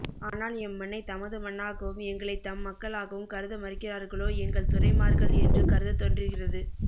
ஆனால் எம் மண்ணை தமது மண்ணாகவும் எங்களைத் தம் மக்களாகவும் கருத மறுக்கிறார்களோ எங்கள் துரைமார்கள் என்று கருதத் தோன்றுகிறது